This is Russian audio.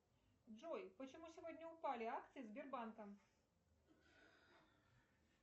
джой почему сегодня упали акции сбербанка